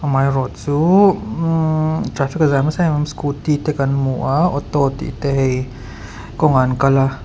amaherawhchu traffic a jam nasa em em a scooty te kan hmu a auto tih te hei kawng ah an kal a.